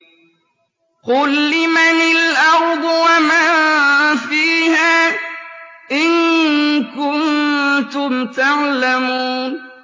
قُل لِّمَنِ الْأَرْضُ وَمَن فِيهَا إِن كُنتُمْ تَعْلَمُونَ